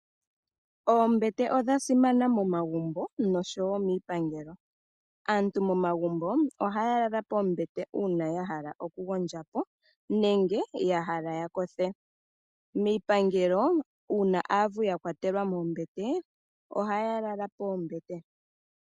Oombete odhasimana momagumbo oshowo miipangelo . Aantu momagumbo ohaya lala poombete uuna yahala okugondjapo nenge yahala ya kothe. miipangelo uuna aavu yakwatelwa moombete ohaya lala moombete.